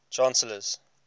chancellors